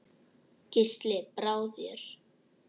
Gísli: Brá þér?